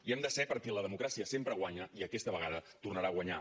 hi hem de ser perquè la democràcia sempre guanya i aquesta vegada tornarà a guanyar